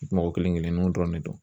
Mɔgɔ kelen-kelenninw dɔrɔn de don